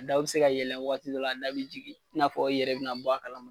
A daw be se ka yɛlɛ wagati dɔ la , a da be jigin . I n'a fɔ i yɛrɛ be bɔ a kalama